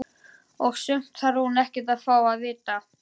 Og sumt þarf hún ekkert að fá að vita.